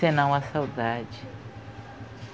Senão a saudade.